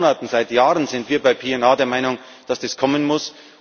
Seit Monaten, seit Jahren sind wir bei PNR der Meinung, dass das kommen muss.